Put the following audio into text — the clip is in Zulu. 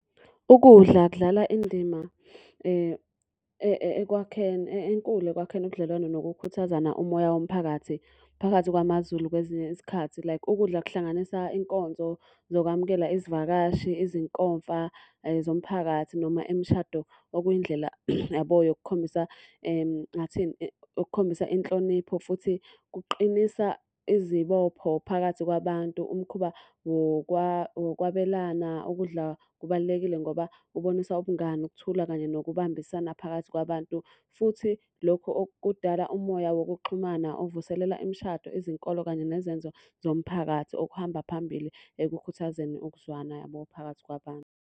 Ukudla kudlala indima ekwakheni enkulu ekwakheni ubudlelwane nokukhuthazana umoya womphakathi phakathi kwamaZulu kwezinye isikhathi. Like ukudla kuhlanganisa inkonzo zokwamukela izivakashi, izinkomfa zomphakathi noma imishado, okuyindlela yabo yokukhombisa ngingathini, yokukhombisa inhlonipho. Futhi kuqinisa izibopho phakathi kwabantu, umkhuba wokwabelana ukudla kubalulekile ngoba kubonisa ubungani, ukuthula, kanye nokubambisana phakathi kwabantu. Futhi lokho okudala umoya wokuxhumana, ukuvuselela imishado, izinkolo kanye nezenzo zomphakathi. Okuhamba phambili ekukhuthazeni ukuzwana yabo phakathi kwabantu.